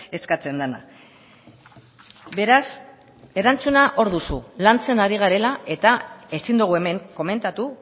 eskatzen dena beraz erantzuna hor duzu lantzen ari garela eta ezin dugu hemen komentatu